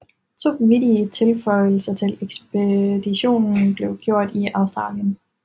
To vigtige tilføjelser til ekspeditionen blev gjort i Australien